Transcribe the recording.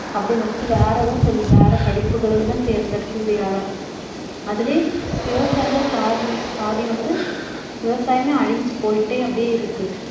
அப்படின்னு நினைச்சு வேற எதுவும் சொல்லி~ வேற படிப்புகளுக்குதான் தேர்ந்தெடுத்து அதிலேயே விவசாயிகள் பாதி வந்~ பாதி வந்து விவசாயமே அழிஞ்சு போயிட்டே அப்படியே இருக்கு